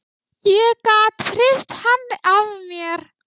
Ég gat hrist hann af mér.